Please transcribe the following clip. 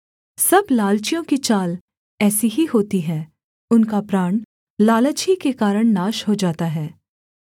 सब लालचियों की चाल ऐसी ही होती है उनका प्राण लालच ही के कारण नाश हो जाता है